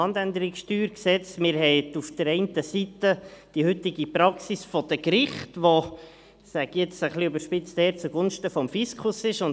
Man hat auf der einen Seite die heutige Praxis der Gerichte, die – das sage ich jetzt etwas überspitzt – zugunsten des Fiskus entscheiden.